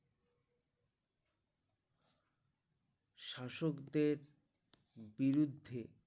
শাসকদের বিরুদ্ধে